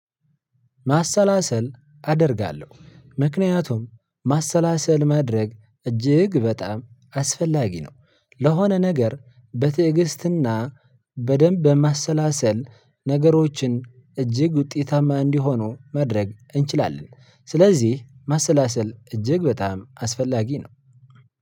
ማሰላሰል አደርጋለሁ ምክንያቱም ማሰላሰል ማድረግ እጅግ በጣም አስፈላጊ ነው። ለሆነ ነገር በትዕግስትና በደንብ በማሰላሰል ነገሮችን እጅግ ውጤታማ እንዲሆኑ መድረግ እንችላለን። ስለዚህ መሰላሰል እጅግ በጣም አስፈላጊ ነው።